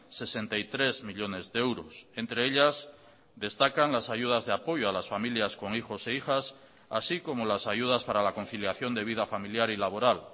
sesenta y tres millónes de euros entre ellas destacan las ayudas de apoyo a las familias con hijos e hijas así como las ayudas para la conciliación de vida familiar y laboral